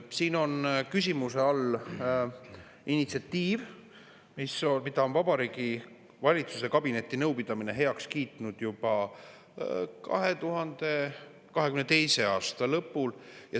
Siin on küsimuse all initsiatiiv, mille Vabariigi Valitsuse kabinetinõupidamine kiitis heaks juba 2022. aasta lõpul.